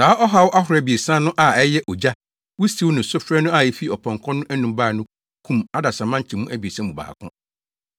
Saa ɔhaw ahorow abiɛsa no a ɛyɛ ogya, wusiw ne sufre no a efi apɔnkɔ no anom bae no kum adesamma nkyɛmu abiɛsa mu baako.